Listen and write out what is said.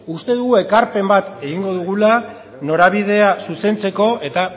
uste dugu ekarpen bat egingo dugula norabidea zuzentzeko eta